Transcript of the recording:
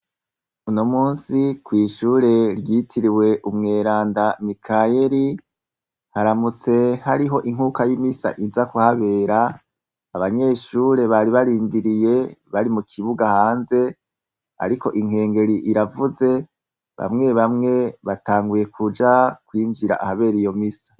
Uno munsi kw'ishure ryitiriwe umweranda Mikayeri, haramutse hariho inkuka y'imisa inza kuhabera, abanyeshure bari barindiriye bari mu kibuga hanze, ariko inkengeri iravuze bamwe bamwe batanguye kuja kwinjira ahabere iyo misa.